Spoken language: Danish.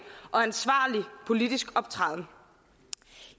og ansvarlig politisk optræden